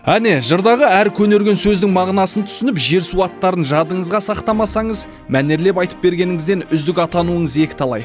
әне жырдағы әр көнерген сөздің мағынасын түсініп жер су аттарын жадыңызға сақтамасаңыз мәнерлеп айтып бергеніңізден үздік атануыңыз екіталай